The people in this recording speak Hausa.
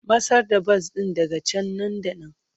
Matsar da bas ɗin daga can nan da nan!